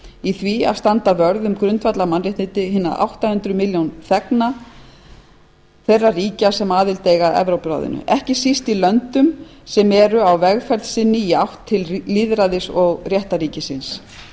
í því að standa vörð um grundvallarmannréttindi hinna átta hundruð milljón þegna evrópuráðsins ekki síst í löndum sem eru á vegferð sinni í átt til lýðræðis og réttarríkisins þar er dómstólinn síðasta hálmstráið